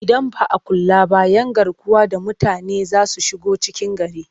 Idan ba a kula ba 'yan garkuwa da mutane za su shigo cikin gari